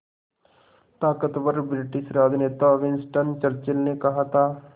ताक़तवर ब्रिटिश राजनेता Winston Churchill ने कहा था